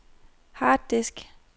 harddisk